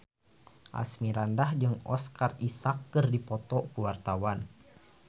Asmirandah jeung Oscar Isaac keur dipoto ku wartawan